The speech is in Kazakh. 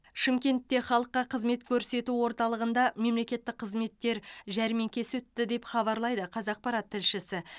шымкентте халыққа қызмет көрсету орталығында мемлекеттік қызметтер жәрмеңкесі өтті деп хабарлайды қазақпарат тілшісі